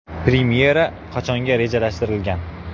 Premyera qachonga rejalashtirilgan?